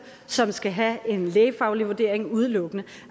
som skal have en lægefaglig vurdering udelukkende